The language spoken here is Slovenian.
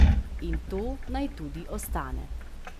In to naj tudi ostane.